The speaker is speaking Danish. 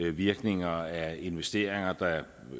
virkninger af investeringer der